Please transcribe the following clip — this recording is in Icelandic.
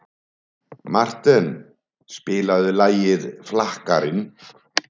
Marten, spilaðu lagið „Flakkarinn“.